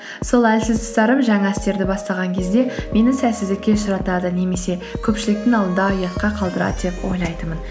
сол әлсіз тұстарым жаңа істерді бастаған кезде мені сәтсіздікке ұшыратады немесе көпшіліктің алдында ұятқа қалдырады деп ойлайтынмын